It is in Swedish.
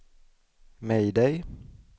mayday